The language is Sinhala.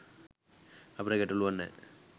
අපට ගැටලුවක් නැහැ.